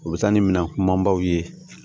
U bɛ taa ni minɛn kumanbaw ye